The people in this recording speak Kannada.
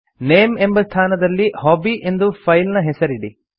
ನೇಮ್ ಎಂಬ ಸ್ಥಾನದಲ್ಲಿ ಹಾಬಿ ಎಂದು ಫೈಲ್ ನ ಹೆಸರಿಡಿ